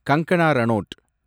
Kangana Ranaut